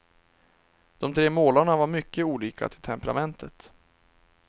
De tre målarna var mycket olika till temperamentet.